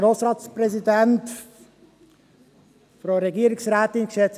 Es ist eine reduzierte Debatte.